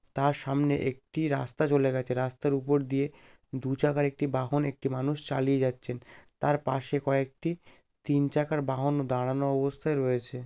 তার সামনে একটি রাস্তা চলে গেছে রাস্তার উপর দিয়ে দু চাকার একটি বাহন একটি মানুষ চালিয়ে যাচ্ছেন তার পাশে কয়েকটি তিন চাকার বাহানও দাঁড়ানো অবস্থায় রয়েছে ।